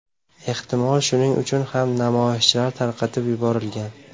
Ehtimol shuning uchun ham namoyishchilar tarqatib yuborilgan.